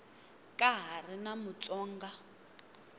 ka ha ri na mutsonga